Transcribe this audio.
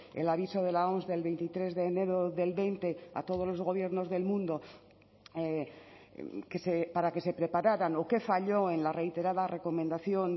el aviso de la oms del veintitrés de enero del veinte a todos los gobiernos del mundo para que se prepararan o que falló en la reiterada recomendación